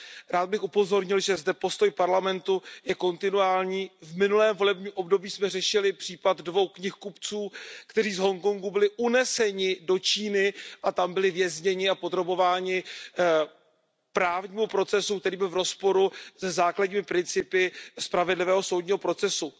Rád bych upozornil, že zde postoj Parlamentu je kontinuální. V minulém volebním období jsme řešili případ dvou knihkupců, kteří byli z Hongkongu uneseni do Číny a tam byli vězněni a podrobováni právnímu procesu, který byl v rozporu se základními principy spravedlivého soudního procesu.